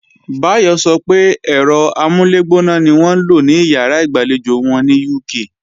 Báyọ̀ sọ pé ẹ̀rọ amúlẹ̀gbóná ni wọ́n ń lò ní ìyàrá ìgbàlejò wọn ní UK